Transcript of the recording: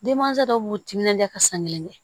Denmansa dɔw b'u timinandiya ka san kelen kɛ